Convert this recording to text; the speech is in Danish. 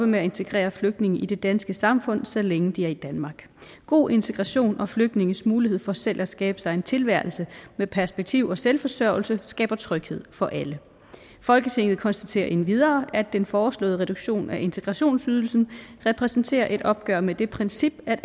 med at integrere flygtninge i det danske samfund så længe de er i danmark god integration og flygtninges mulighed for selv at skabe sig en tilværelse med perspektiv og selvforsørgelse skaber tryghed for alle folketinget konstaterer endvidere at den foreslåede reduktion af integrationsydelsen repræsenterer et opgør med det princip at